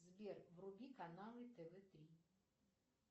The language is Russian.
сбер вруби каналы тв три